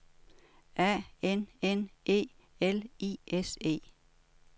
A N N E L I S E